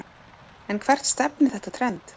En hvert stefnir þetta trend?